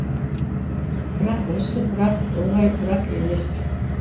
бірақ осы бірақ оңай бірақ емес